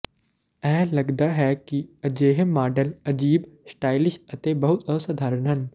ਇਹ ਲਗਦਾ ਹੈ ਕਿ ਅਜਿਹੇ ਮਾਡਲ ਅਜੀਬ ਸਟਾਈਲਿਸ਼ ਅਤੇ ਬਹੁਤ ਅਸਧਾਰਨ ਹਨ